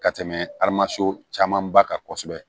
Ka tɛmɛ aramaso caman ba kan kosɛbɛ